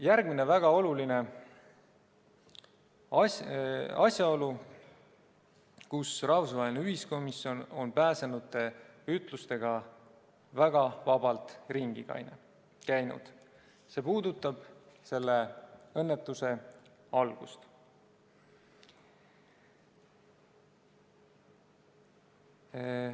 Järgmine väga oluline asjaolu, mille puhul rahvusvaheline ühiskomisjon on pääsenute ütlustega väga vabalt ringi käinud, puudutab selle õnnetuse algust.